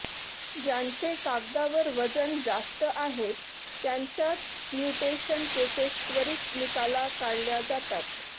ज्यांचे कागदावर वजन जास्त आहेत त्यांच्याच म्युटेशन केसेस त्वरित निकाला काढल्या जातात